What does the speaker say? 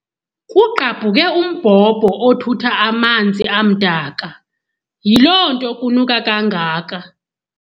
Kugqabhuke umbhombho othutha amanzi amdaka, yiloo nto kunuka kangaka.